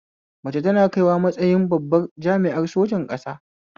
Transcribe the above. Mace tana kaiwa matsayin babbar jami'ar sojan ƙasa